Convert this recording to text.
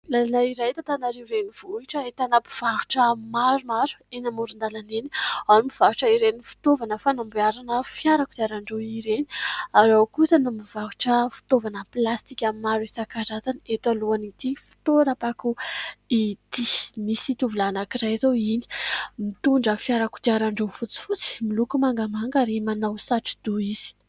Lalana iray eto Antananarivo renivohitra, ahitana mpivarotra maromaro eny amoron-dalana eny : ao ny mpivarotra ireny fitaovana fanamboarana fiara kodiarandroa ireny ; ary ao kosa ny mivarotra fitaovana plastika maro isankarazany, eto alohan'ity fitoeram-pako ity. Misy tovolahy anankiray izao iny, mitondra fiara kodiarandroa fotsifotsy, miloko mangamanga, ary manao satro-doha izy.